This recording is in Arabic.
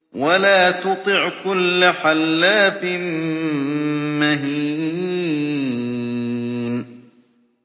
وَلَا تُطِعْ كُلَّ حَلَّافٍ مَّهِينٍ